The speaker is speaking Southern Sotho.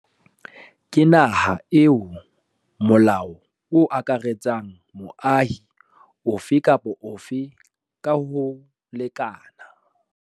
Ke naha eo molao o akaretsang moahi ofe kapa ofe ka ho lekana.